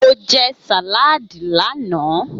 Mo jẹ sàládì lánàá.